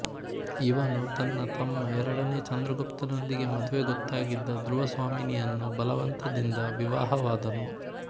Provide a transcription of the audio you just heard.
ಇವನು ತನ್ನ ತಮ್ಮ ಎರಡನೇ ಚಂದ್ರಗುಪ್ತನೊಂದಿಗೆ ಮದುವೆ ಗೊತ್ತಾಗಿದ್ದ ಧ್ರುವಸ್ವಾಮಿನಿಯನ್ನು ಬಲವಂತದಿಂದ ವಿವಾಹವಾದನು